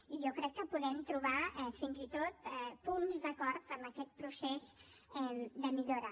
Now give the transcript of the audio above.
i jo crec que podem trobar fins i tot punts d’acord en aquest procés de millora